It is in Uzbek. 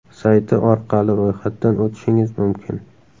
sayti orqali ro‘yxatdan o‘tishingiz mumkin.